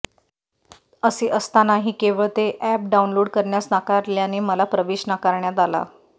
असे असतानाही केवळ ते अॅप डाउनलोड करण्यास नाकारल्याने मला प्रवेश नाकारण्यात आला